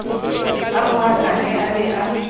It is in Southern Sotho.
a rohakane a be a